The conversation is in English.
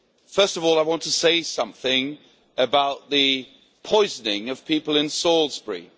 First of all, I want to say something about the poisoning of people in Salisbury.